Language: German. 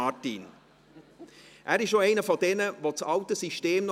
Ich habe zu Hause eine Hochrisikopatientin und darf es deshalb nicht tun.